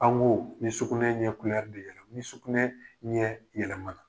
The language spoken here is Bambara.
An ko ni sukunɛ yɛlɛmala, ni sukunɛ ɲɛ yɛlɛmana.